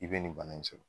I bɛ nin bana in sɔrɔ